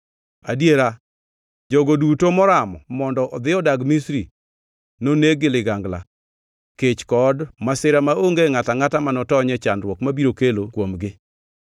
Adiera, jogo duto moramo mondo odhi odag Misri noneg gi ligangla, kech kod masira maonge ngʼato angʼata ma notony e chandruok mabiro kelo kuomgi.’